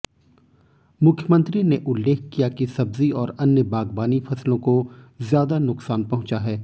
मुख्यमंत्री ने उल्लेख किया कि सब्जी और अन्य बागबानी फसलों को ज्यादा नुकसान पहुंचा है